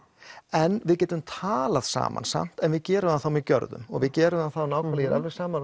en við getum talað saman samt en við gerum það þá með gjörðum við gerum það þá með ég er alveg sammála